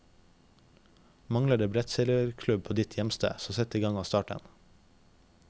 Mangler det brettseilerklubb på ditt hjemsted, så sett igang og start en.